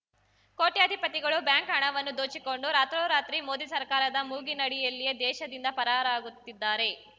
ಕೋಟ್ಯಾಧಿಪತಿಗಳು bank ಹಣವನ್ನು ದೋಚಿಕೊಂಡು ರಾತ್ರೋರಾತ್ರಿ ಮೋದಿ ಸರ್ಕಾರದ ಮೂಗಿನಡಿಯಲ್ಲಿಯೇ ದೇಶದಿಂದ ಪರಾರಾಗುತ್ತಿದ್ದಾರೆ